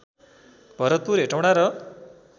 भरतपुर हेटौडा र